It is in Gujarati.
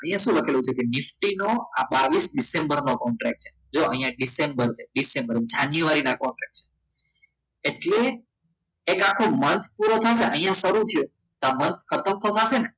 અહીંયા શું લખેલું છે કે નિફ્ટીનો આ બાવિસ ડિસેમ્બર નો કોન્ટ્રાક્ટ જો અહીંયા ડિસેમ્બર છે ડિસેમ્બર જાન્યુઆરીના કોન્ટ્રાક્ટ એટલે એક આખો month પૂરો થાય ને તો અહીંયા સ્વરૂપ છે ખતમ થવા આવે ને